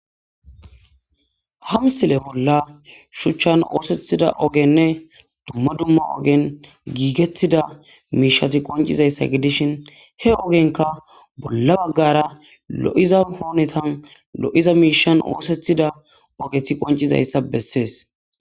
Hamsile bolla shuchchan oosethida ogenne dumma dumma ogen giigetida miishati qoncizayssa gidishin he ogenka bolla baggara lo'za hoonetan lo'za miishan oosethida ogethi qoncizayssa bessees.